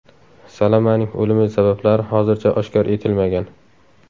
Salamaning o‘limi sabablari hozircha oshkor etilmagan.